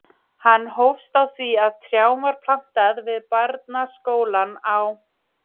Hann hófst á því að trjám var plantað við barnaskólann á